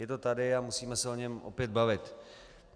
Je to tady a musíme se o něm opět bavit.